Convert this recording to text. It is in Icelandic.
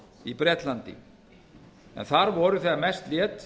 í bretlandi en þar voru þegar mest lét